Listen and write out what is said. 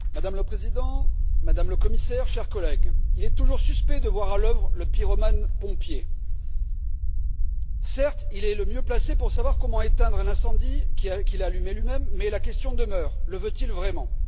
Madame la Présidente, Madame le Commissaire, chers collègues, il est toujours suspect de voir à l'œuvre le pompier pyromane. Certes, il est le mieux placé pour savoir comment éteindre l'incendie qu'il a allumé lui même, mais la question demeure le veut il vraiment?